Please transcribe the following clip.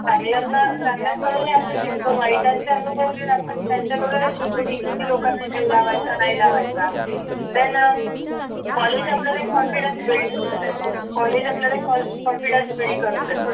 चांगल्या चांगल्या कडून अपेक्षित पण वाईटाचे अनुभव घेत असतात त्यांच्याकडून हे शिकतो कि किती लोकाना जीव लावायचा नाही लावायचा then college आपल्याला confidence build करून देतो